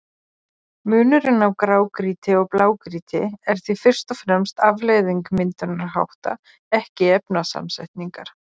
Munurinn á grágrýti og blágrýti er því fyrst og fremst afleiðing myndunarhátta, ekki efnasamsetningar.